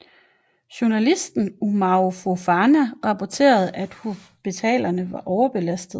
Journalisten Umaru Fofana rapporterede at hospitalerne var overbelastede